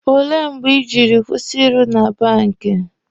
Ole mgbe Ị jiri kwụsị ịrụ na bank?